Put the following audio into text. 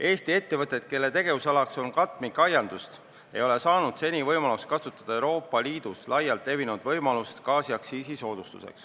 Eesti ettevõtted, kelle tegevusalaks on katmikaiandus, ei ole saanud seni kasutada Euroopa Liidus laialt levinud võimalust saada gaasiaktsiisisoodustust.